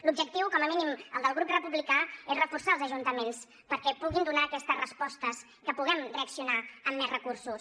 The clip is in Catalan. l’objectiu com a mínim el del grup republicà és reforçar els ajuntaments perquè puguin donar aquestes respostes que puguem reaccionar amb més recursos